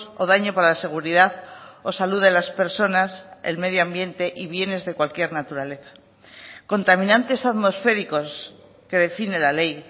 o daño para la seguridad o salud de las personas el medio ambiente y bienes de cualquier naturaleza contaminantes atmosféricos que define la ley